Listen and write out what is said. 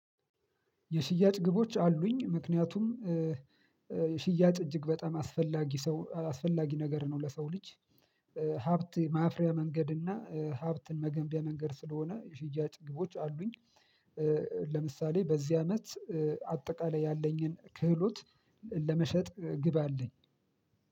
የሽያጭ ግቦች አሉኝ። ምክንያቱም ሽያጭ እጅግ በጣም አስፈላጊ ሰው አስፈላጊ ነገር ነው ለሰው ልጅ ሀብት ማፍሪያ መንገድ እና ሀብትን መገንቢያ መንገድ ስለሆነ የሽያጭ ግቦች አሉኝ። ለምሳሌ በዚህ አመት አጠቃላይ ያለኝን ክህሎት ለመሸጥ ግብ አለኝ።